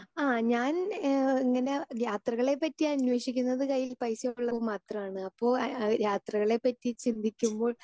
speaker 2 ആഹാ ഞാൻ ഏഹ് ഇങ്ങനെ യാത്രകളെ പറ്റി അന്വേഷിക്കുന്നത് കയ്യിൽ പൈസയുള്ളപ്പോൾ മാത്രമാണ് അപ്പോൾ ആ യാത്രകളെ പറ്റി ചിന്തിക്കുമ്പോൾ